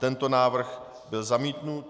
Tento návrh byl zamítnut.